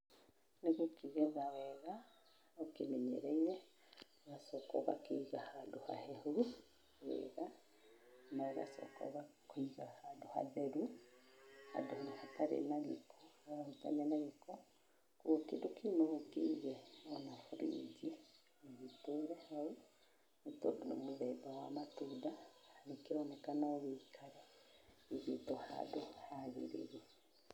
Nĩ gũkĩgetha wega ũkĩmenyereire, ũgacoka ũgakĩiga handũ hahehu wega, na ũgacoka ũgakĩiga handũ hatheru, handũ hatarĩ na gĩko, hatarahutania na gĩko. Ũguo kĩndũ kĩu no ũkĩige mũno rĩngĩ, gĩtũre hau. Nĩ tondũ nĩ mũthemba wa matunda, nĩ kĩronekana no gĩikare ihinda handũ hagĩrĩru.